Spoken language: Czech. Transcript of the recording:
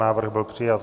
Návrh byl přijat.